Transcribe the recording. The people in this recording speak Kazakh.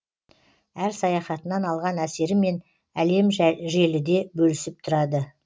әр саяхатынан алған әсерімен әлемжеліде бөлісіп тұрады